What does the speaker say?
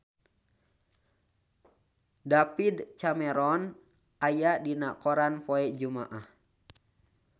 David Cameron aya dina koran poe Jumaah